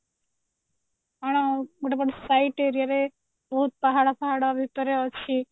ଗୋଟେ ପଟ side area ରେ ବହୁତ ପାହାଡ ଫାହଡ ଭିତରେ ଅଛି